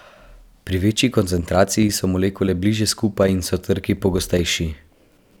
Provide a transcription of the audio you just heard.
Pri večji koncentraciji so molekule bližje skupaj in so trki pogostejši.